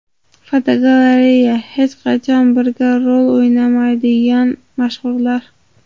Fotogalereya: Hech qachon birga rol o‘ynamaydigan mashhurlar.